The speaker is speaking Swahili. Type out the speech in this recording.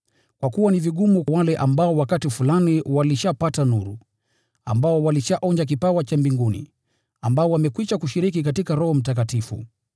Kwa kuwa ni vigumu kwa wale ambao wakati fulani walishapata nuru, ambao walishaonja kipawa cha mbinguni, ambao wamekwisha kushiriki katika Roho Mtakatifu,